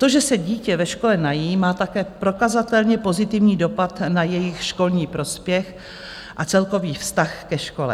To, že se dítě ve škole nají, má také prokazatelně pozitivní dopad na jejich školní prospěch a celkový vztah ke škole.